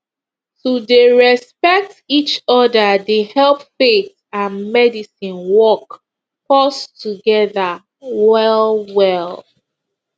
to dey respect each other dey help faith and medicine work pause together well well